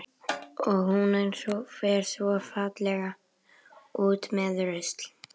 Og hún fer svo fallega út með rusl.